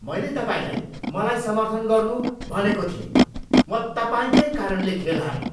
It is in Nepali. मैले तपाईँलाई मलाई समर्थन गर्नु भनेको थिएँ! म तपाईँकै कारणले खेल हारेँ!